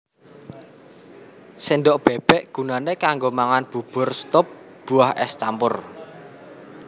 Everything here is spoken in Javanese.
Sendhok bébék gunané kanggo mangan bubur stup buah ès campur